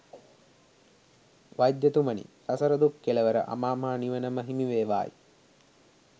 වෛද්‍යතුමනි, සසර දුක් කෙළවර අමාමහ නිවන ම හිමිවේවායි.